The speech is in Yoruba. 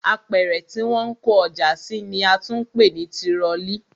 Apẹ̀rẹ̀ tí wọ́n ń kó ọjà sí ni a tún ń pè ní tirọlí